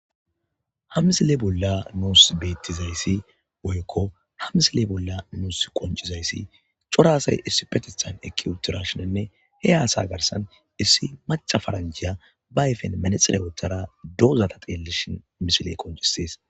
Hamsile bolla nuus beettizayssi woykko hamsile bolla nuus qoncizayssi coraasay issi petethan eki utirashonenne he haasa garsan issi maca faranjhiya ba ayfen manexirayotara doozata xeellishin misile qoncissees.